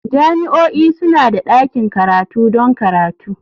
Jami'o'i suna da ɗakin karatu don karatu.